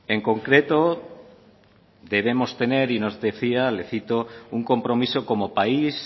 en concreto debemos tener y nos decía le cito un compromiso como país